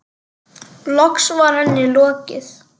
Loks var henni lokið.